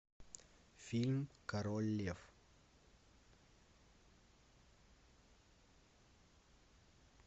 фильм король лев